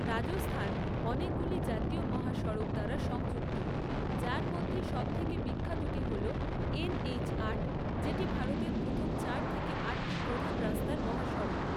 রাজস্থান অনেকগুলি জাতীয় মহাসড়ক দ্বারা সংযুক্ত, যার মধ্যে সবথেকে বিখ্যাতটি হল এন এইচ আট, যেটি ভারতের প্রথম চার থেকে আটটি প্রধান রাস্তার মহাসড়ক।